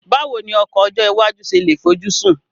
Báwo ni ọkọ̀ ọjọ́ iwájú ṣe lè fojúsùn